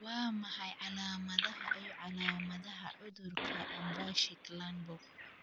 Waa maxay calaamadaha iyo calaamadaha cudurka Unverricht Lundborg?